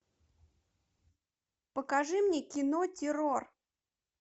покажи мне кино террор